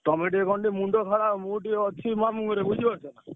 ତମେ ଟିକେ କଣ ଟିକେ ମୁଣ୍ଡ ଖେଳାଅ ମୁଁ ଟିକେ ଅଛି ମାମୁଁ ଘରେ ବୁଝିପାରୁଛ?